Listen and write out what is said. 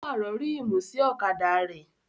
Ó pàrọ̀ ríìmù sí ọ̀kadà rẹ̀